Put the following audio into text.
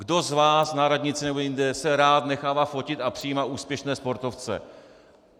Kdo z vás na radnici nebo jinde se rád nechává fotit a přijímá úspěšné sportovce?